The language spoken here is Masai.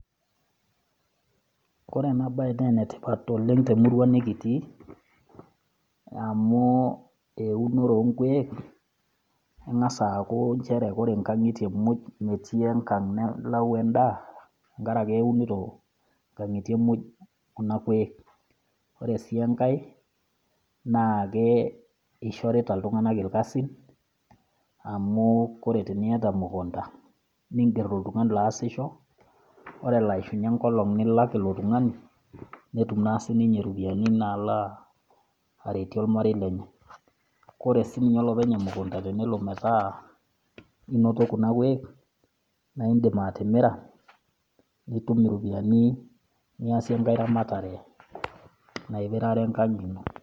Ore ena bae naa ene tipat oleng' te emurua nekitii, amu eunore oo nkueek , engas aaku ore inkang'itie muj, metii enkang nalayu endaa enkaraki eunito inkangitie muj kuna kweek, Ore sii enkai naa keishorita iltung'ana ilkasin, amu ore teniata emukunta, ninger oltungani loasisho, ore elo aishunye enkolong' nilak ilo tung'ani, netum naa sii ninye iropiani naalo aretie olmarei lenye. Kore sii ninye olopeny emukunta tenelo metaa inoto kuna kuuek, na indim atimira nitum iropiani niasie enkai ramatare naipirare enkang' ino.